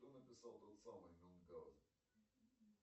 кто написал тот самый мюнхаузен